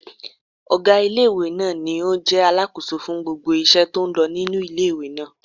Ọgá ilé-ìwé náà ní o jẹ́ alákóso fún gbogbo iṣẹ́ tó n lọ nínu ilé-ìwé náà